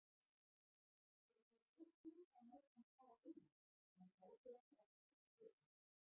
Þau voru ófús að láta hann fara einan en gátu ekki aftrað för hans.